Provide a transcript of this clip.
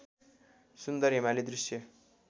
सुन्दर हिमाली दृश्य